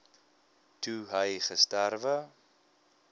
toe hy gesterwe